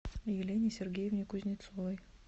елене сергеевне кузнецовой